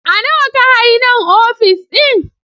A Nawa ka hayi nan ofis ɗin?